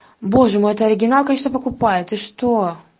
боже мой это оригинал конечно покупай ты что